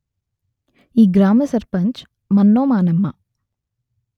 ఈ గ్రామ సర్పంచ్ మన్నోమానెమ్మ